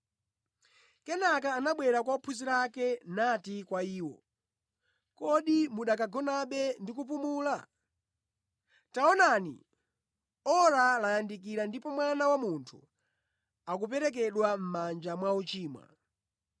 Kenaka anabwera kwa ophunzira ake nati kwa iwo, “Kodi mukanagonabe ndi kupumula? Taonani, ora layandikira ndipo Mwana wa Munthu akuperekedwa mʼmanja mwa ochimwa.